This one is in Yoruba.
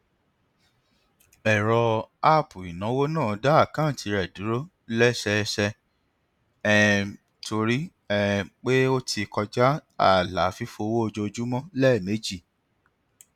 ẹrọ app ináwó náà dá àkántì rẹ dúró lẹsẹẹsẹ um torí um pé ó ti kọja ààlà fífowó ojoojúmọ lẹẹmejì